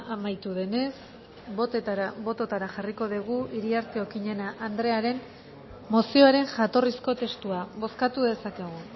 amaitu denez bototara jarriko dugu iriarte okineña andrearen mozioaren jatorrizko testua bozkatu dezakegu